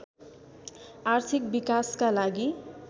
आर्थिक विकासका लागि